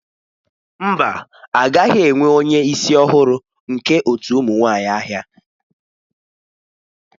Mba a gaghị enwe onye isi ọhụrụ nke otu ụmụ nwanyị ahịa.